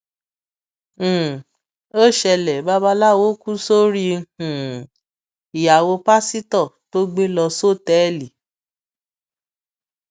um ó ṣẹlẹ babaláwo kù sórí um ìyàwó pásítọ tó gbé lọ sọtẹẹlì